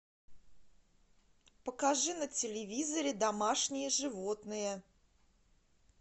покажи на телевизоре домашние животные